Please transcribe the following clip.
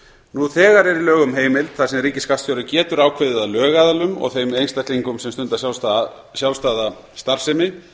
nú þegar er í lögum heimild þar sem ríkisskattstjóri getur ákveðið að lögaðilum og þeim einstaklingum sem stunda sjálfstæða starfsemi